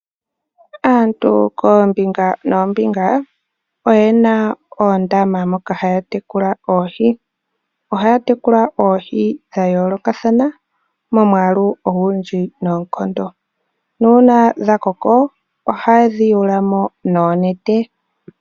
Aantu koombinga noombinga oyena oondama moka haya tekula oohi. Ohaya tekula oohi dha yoolokathana momwaalu ogundji noonkondo nuuna dha koko ohayedhi yuulamo noonete.